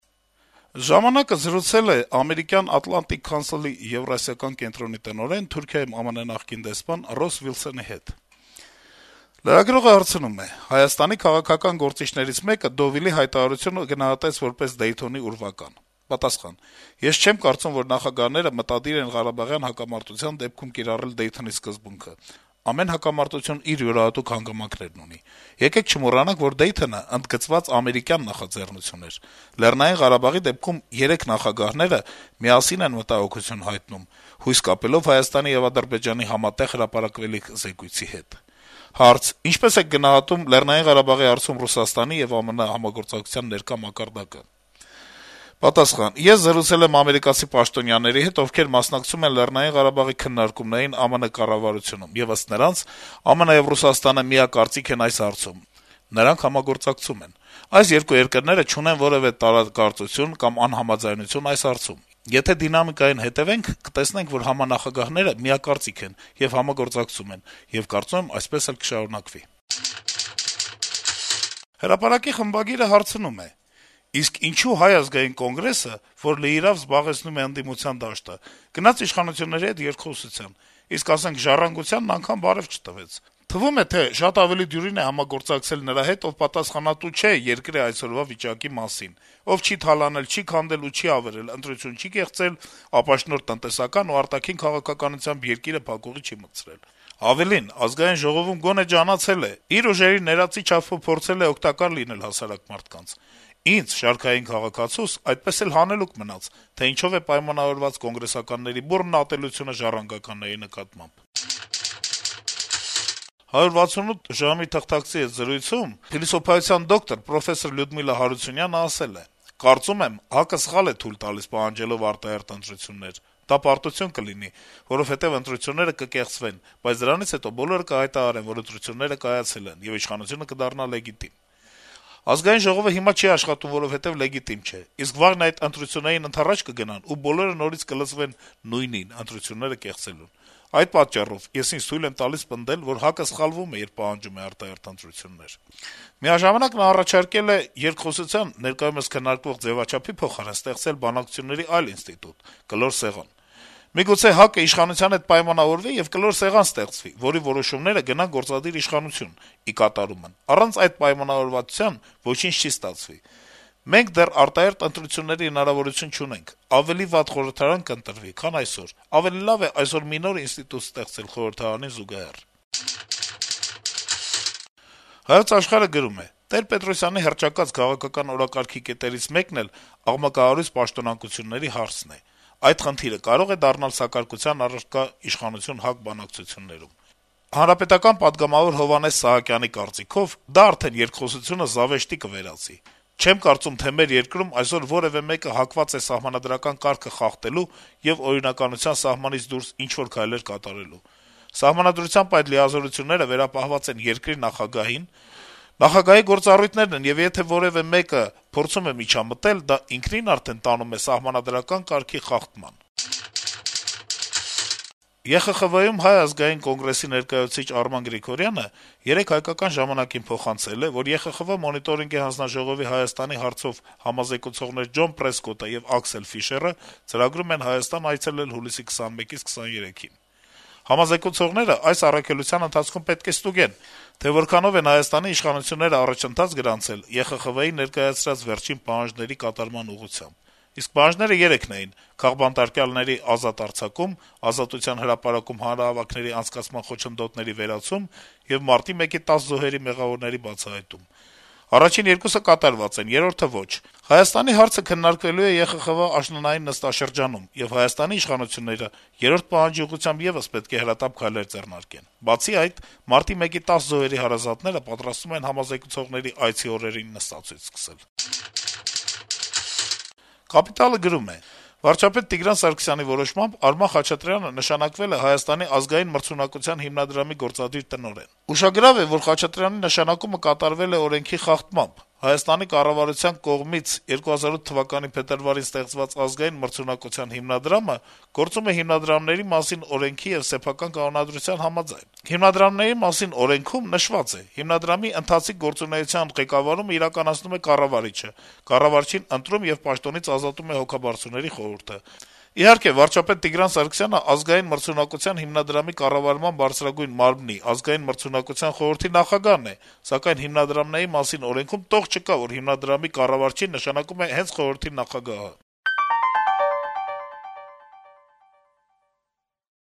«Ժամանակ»-ը զրուցել է ԱՄՆ Ատլանտիկ խորհրդի Եվրասիական կենտրոնի տնօրեն, Թուրքիայում ԱՄՆ նախկին դեսպան Ռոս Վիլսընի հետ: Լրագրողը հարցնում է. - «Հայաստանի քաղաքական գործիչներից մեկը Դովիլի հայտարարությունը գնահատեց որպես «Դեյթոնի ուրվական»: Պատասխան. - «Ես չեմ կարծում, որ նախագահները մտադիր են ղարաբաղյան հակամարտության դեպքում կիրառել Դեյթոնի սկզբունքը: Ամեն հակամարտություն իր յուրահատուկ հանգամանքներն ունի: Եկեք չմոռանանք, որ Դեյթոնը ընդգծված ամերիկյան նախաձեռնություն էր: Լեռնային Ղարաբաղի դեպքում երեք նախագահները միասին են մտահոգություն հայտնում` հույսեր կապելով Հայաստանի եւ Ադրբեջանի համատեղ հրապարակելիք զեկույցի հետ»: Հարց. - «Ինչպե՞ս եք գնահատում Լեռնային Ղարաբաղի հարցում Ռուսաստանի եւ ԱՄՆ-ի համագործակցության մակարդակը»: Պատասխան. - «Ես զրուցել եմ ամերիկացի պաշտոնյաների հետ, ովքեր մասնակցում են Լեռնային Ղարաբաղի քննարկումներին ԱՄՆ կառավարությունում, եւ ըստ նրանց` ԱՄՆ-ը եւ Ռուսաստանը միակարծիք են այս հարցում, նրանք համագործակցում են: Այս երկու երկրները չունեն որեւէ տարակարծություն կամ անհամաձայնություն այս հարցում: Եթե դինամիկային հետեւենք, կտեսնենք, որ համանախագահները միակարծիք են եւ համագործակցում են, եւ կարծում եմ` այդպես էլ կշարունակվի»: «Հրապարակ»-ի խմբագիրը հարցնում է. - «Իսկ ինչո՞ւ Հայ ազգային կոնգրեսը, որ լիիրավ զբաղեցնում է ընդդիմության դաշտը, գնաց իշխանությունների հետ երկխոսության, իսկ, ասենք, «Ժառանգությանն» անգամ բարեւ չտվեց: Թվում է՝ շատ ավելի դյուրին է համագործակցել նրա հետ, ով պատասխանատու չէ երկրի այսօրվա վիճակի համար: Ով չի թալանել, չի քանդել ու չի ավերել, ընտրություն չի կեղծել, ապաշնորհ տնտեսական ու արտաքին քաղաքականությամբ երկիրը փակուղի չի մտցրել: Ավելին՝ Ազգային ժողովում գոնե ջանացել է, իր ուժերի ներածի չափով փորձել է օգտակար լինել հասարակ մարդկանց: Ինձ՝ շարքային քաղաքացուս, այդպես էլ հանելուկ մնաց, թե ինչով է պայմանավորված «կոնգրեսականների» բուռն ատելությունը «ժառանգականների» նկատմամբ»: «168 ժամ»-ի թղթակցի հետ զրույցում փիլիսոփայության դոկտոր, պրոֆեսոր Լյուդմիլա Հարությունյանը ասել է. - «Կարծում եմ` ՀԱԿ-ը սխալ է թույլ տալիս` պահանջելով արտահերթ ընտրություններ: Դա պարտություն կլինի, որովհետեւ ընտրությունները կկեղծվեն, բայց դրանից հետո բոլորը կհայտարարեն, որ ընտրությունները կայացել են, եւ իշխանությունը կդառնա լեգիտիմ: ԱԺ-ն հիմա չի աշխատում, որովհետեւ լեգիտիմ չէ: Իսկ վաղն այդ ընտրություններին ընդառաջ կգնան, ու բոլորը նորից կլծվեն նույնին` ընտրությունները կեղծելուն... Այդ պատճառով ես ինձ թույլ եմ տալիս պնդել, որ ՀԱԿ-ը սխալվում է, երբ պահանջում է արտահերթ ընտրություններ»: Միաժամանակ Հարությունյանը առաջարկել է երկխոսության` ներկայումս քննարկվող ձեւաչափի փոխարեն ստեղծել բանակցությունների այլ ինստիտուտ` կլոր սեղան. - «Միգուցե ՀԱԿ-ն իշխանության հետ պայմանավորվի, եւ կլոր սեղան ստեղծվի, որի որոշումները գնան գործադիր իշխանություն` ի կատարումն: Առանց այդ պայմանավորվածության ոչինչ չի ստացվի... Մենք դեռ արտահերթ ընտրությունների հնարավորություն չունենք: Ավելի վատ խորհրդարան կընտրվի, քան այսօր: Ավելի լավ է այսօր մի նոր ինստիտուտ ստեղծել խորհրդարանին զուգահեռ»: «Հայոց Աշխարհ»-ը գրում է. - «Տեր-Պետրոսյանի հռչակած «քաղաքական օրակարգի» կետերից մեկն էլ աղմկահարույց պաշտոնանկությունների հարցն է։ Այդ խնդիրը կարո՞ղ է դառնալ սակարկության առարկա իշխանություն-ՀԱԿ բանակցություններում։ Հանրապետական պատգամավոր Հովհաննես Սահակյանի կարծիքով. «Դա արդեն երկխոսությունը զավեշտի կվերածի։ Չեմ կարծում, թե մեր երկրում այսօր որեւէ մեկը հակված է սահմանադրական կարգը խախտելու եւ օրինականության սահմանից դուրս ինչ-որ քայլեր կատարելու։ Սահմանադրությամբ այդ լիազորությունները վերապահված են երկրի նախագահին, նախագահի գործառույթներն են, եւ եթե որեւէ մեկը փորձում է միջամտել, դա ինքնին արդեն տանում է սահմանադրական կարգի խախտման»։ Եվրախորհրդի խորհրդարանական վեհաժողովում Հայ ազգային կոնգրեսի ներկայացուցիչ Արման Գրիգորյանը երեկ «Հայկական ժամանակ»-ին փոխանցել է, որ ԵԽԽՎ Մոնիտորինգի հանձնաժողովի Հայաստանի հարցով համազեկուցողներ Ջոն Պրեսկոտը եւ Ակսել Ֆիշերը ծրագրում են Հայաստան այցելել հուլիսի 21-23-ը: Համազեկուցողները այս առաքելության ընթացքում պետք է ստուգեն, թե որքանով են Հայաստանի իշխանությունները առաջընթաց գրանցել ԵԽԽՎ-ի ներկայացրած վերջին պահանջների կատարման ուղղությամբ: Իսկ պահանջները երեքն էին` քաղբանտարկյալների ազատ արձակում, Ազատության հրապարակում հանրահավաքների անցկացման խոչընդոտների վերացում եւ մարտի 1-ի 10 զոհերի մեղավորների բացահայտում: Առաջին երկուսը կատարված են, երրորդը` ոչ: Հայաստանի հարցը քննարկվելու է ԵԽԽՎ-ի աշնանային նստաշրջանում, եւ Հայաստանի իշխանությունները երրորդ պահանջի ուղղությամբ եւս պետք է հրատապ քայլեր ձեռնարկեն: Բացի այդ, մարտի 1-ի 10 զոհերի հարազատները պատրաստվում են համազեկուցողների այցի օրերին նստացույց սկսել»: «Կապիտալ»-ը գրում է. - «Վարչապետ Տիգրան Սարգսյանի որոշմամբ՝ Արման Խաչատրյանը նշանակվել է Հայաստանի ազգային մրցունակության հիմնադրամի (ՀԱՄՀ) գործադիր տնօրեն: Ուշագրավ է, որ Խաչատրյանի նշանակումը կատարվել է ՀՀ օրենքի խախտմամբ: Հայաստանի կառավարության կողմից 2008թ. փետրվարին ստեղծված Հայաստանի ազգային մրցունակության հիմնադրամը գործունեություն է ծավալում «Հիմնադրամների մասին» ՀՀ օրենքի եւ սեփական կանոնադրության համաձայն։ «Հիմնադրամների մասին» ՀՀ օրենքի 27-րդ հոդվածում նշված է. «Հիմնադրամի ընթացիկ գործունեության ղեկավարումն իրականացնում է կառավարիչը։ Կառավարչին ընտրում եւ պաշտոնից ազատում է հոգաբարձուների խորհուրդը: Իհարկե, վարչապետ Տիգրան Սարգսյանը Ազգային մրցունակության հիմնադրամի կառավարման բարձրագույն մարմնի՝ ազգային մրցունակության խորհրդի նախագահն է, սակայն «Հիմնադրամների մասին» ՀՀ օրենքում որեւէ տող չկա, որ հիմնադրամի կառավարչին նշանակում է խորհրդի նախագահը»։